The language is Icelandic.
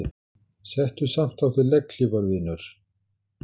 Settu samt á þig legghlífar vinur.